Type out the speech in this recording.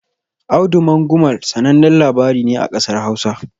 "Audu Mangumal" sanannen labari ne a ƙasar Hausa.